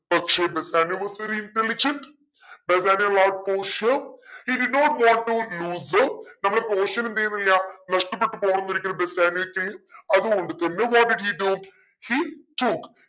പക്ഷെ Bassanio was very intelligent Bassanio wants പോഷിയ he did not want to loose her നമ്മളെ പോഷിയനെ എന്തെയ്യുന്നില്ല നഷ്ടപ്പെട്ട് പോകുന്നൊരിക്കലും ബെസാനിയോക്ക് അത്കൊണ്ട് തന്നെ what did he do he took